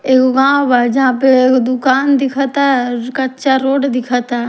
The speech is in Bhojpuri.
एगो गाँव बा जहां पर एगो दुकान दिखता क्च्चा रोड दिखता--